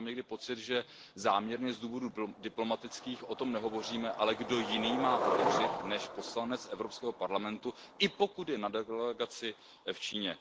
Já mám někdy pocit, že záměrně z důvodů diplomatických o tom nehovoříme, ale kdo jiný má hovořit než poslanec Evropského parlamentu, i pokud je na delegaci v Číně.